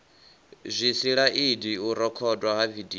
zwisilaidi u rekhodwa ha vidio